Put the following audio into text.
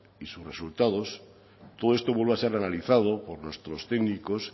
y sus resultados todo esto vuelve a ser analizado por nuestros técnicos